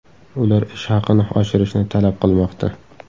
Ular ish haqini oshirishni talab qilmoqda.